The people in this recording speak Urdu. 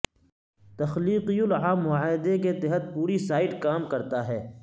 تخلیقی العام معاہدے کے تحت پوری سائٹ کام کرتا ہے